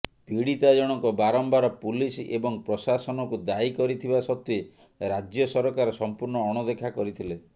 ପୀଡିତା ଜଣକ ବାରମ୍ବାର ପୁଲିସ ଏବଂ ପ୍ରଶାସନକୁ ଦାୟୀ କରିଥିବା ସତ୍ତ୍ୱେ ରାଜ୍ୟ ସରକାର ସଂପୂର୍ଣ୍ଣ ଅଣଦେଖା କରିଥିଲେ